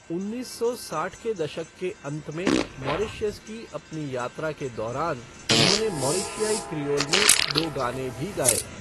उन्नीस सौ साठ के दशक के अंत में मॉरीशस की अपनी यात्रा के दौरान उन्होंने मॉरिशियाई क्रियोल में दो गाने भी गाए।